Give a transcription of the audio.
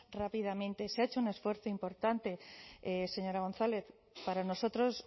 rápidamente se ha hecho un esfuerzo importante señora gonzález para nosotros